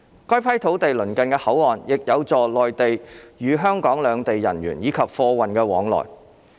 該批土地鄰近口岸，亦有助內地與香港兩地人員以及貨運往來。